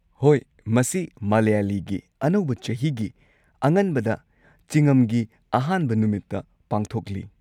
ꯍꯣꯏ, ꯃꯁꯤ ꯃꯂꯌꯥꯂꯤꯒꯤ ꯑꯅꯧꯕ ꯆꯍꯤꯒꯤ ꯑꯉꯟꯕꯗ, ꯆꯤꯉꯝꯒꯤ ꯑꯍꯥꯟꯕ ꯅꯨꯃꯤꯠꯇ ꯄꯥꯡꯊꯣꯛꯂꯤ꯫